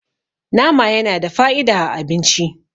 nama yana da fa'ida a abinci